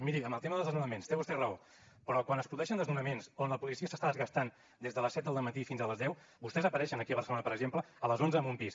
miri en el tema dels desnonaments té vostè raó però quan es produeixen desnonaments on la policia s’està desgastant des de les set del dematí fins a les deu vostès apareixen aquí a barcelona per exemple a les onze amb un pis